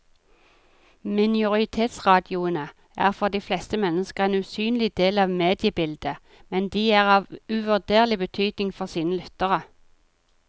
Minoritetsradioene er for de fleste mennesker en usynlig del av mediebildet, men de er av uvurderlig betydning for sine lyttere.